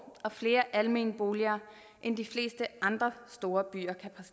og flere almene boliger end de fleste andre store